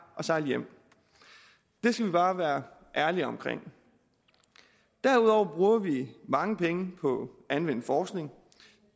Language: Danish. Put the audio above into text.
og sejle hjem det skal vi bare være ærlige omkring derudover bruger vi mange penge på anvendt forskning